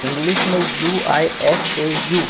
English में U I S A U..